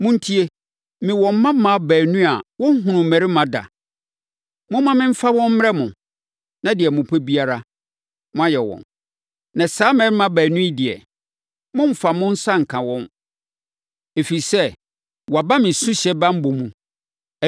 Montie! Mewɔ mmammaa baanu a wɔnhunuu mmarima da. Momma memfa wɔn mmrɛ mo, na deɛ mopɛ biara, moayɛ wɔn. Na saa mmarima baanu yi deɛ, mommfa mo nsa nka wɔn, ɛfiri sɛ, wɔaba me suhyɛ banbɔ mu.”